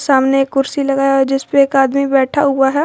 सामने एक कुर्सी लगाया हुआ है जिसपे एक आदमी बैठा हुआ है।